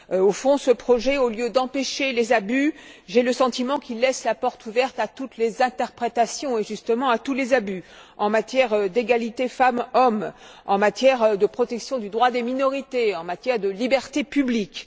Au fond, ce projet, au lieu d'empêcher les abus, j'ai le sentiment qu'il laisse la porte ouverte à toutes les interprétations et justement à tous les abus en matière d'égalité femmes hommes, en matière de protection du droit des minorités, en matière de liberté publique.